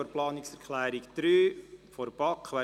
Bauen ausserhalb der Bauzone: